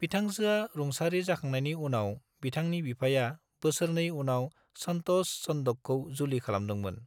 बिथांजोआ रुंसारि जाखांनायनि उनाव, बिथांनि बिफाया बोसोरनै उनाव संतोष चंडोकखौ जुलि खालामदोंमोन।